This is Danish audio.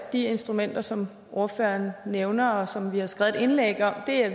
instrumenter som ordføreren nævner og som vi har skrevet et indlæg om er